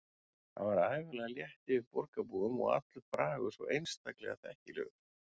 Það er ævinlega létt yfir borgarbúum og allur bragur svo einstaklega þekkilegur.